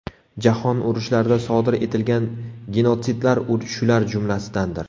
Jahon urushlarida sodir etilgan genotsidlar shular jumlasidandir.